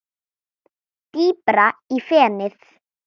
Dýpra í fenið